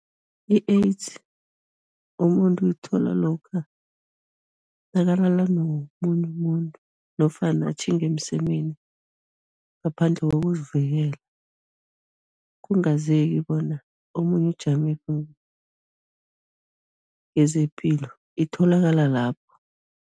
I-AIDS umuntu uyithola lokha nakalala nomunye umuntu nofana atjhinga emsemeni ngaphandle kokuzivikela, kungazeki bona omunye ujamephi ngezepilo, itholakala lapho.